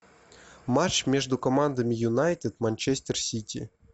матч между командами юнайтед манчестер сити